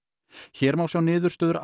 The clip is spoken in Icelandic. hér má sjá niðurstöður